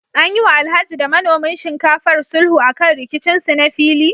An yi wa Alhaji da manomin shinkafar sulhu akan rikicin su na fili?